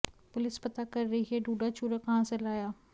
police पता कर रही है डूडा चूरा कहां से लाया